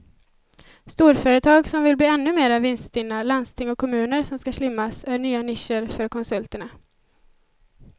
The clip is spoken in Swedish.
Storföretag som vill bli ännu mer vinststinna, landsting och kommuner som ska slimmas är nya nischer för konsulterna.